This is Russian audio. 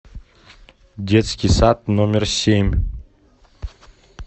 детский сад номер семь